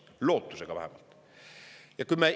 Lootusega vähemalt.